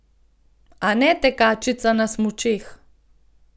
A ne tekačica na smučeh.